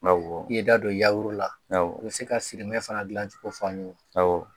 Awɔ,i ye i da don la, awɔ, i bɛ se ka sirimɛ fana dilan cogo fɔ an ye. Awɔ